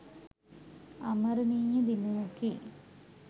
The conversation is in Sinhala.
අමරණීය දිනයකි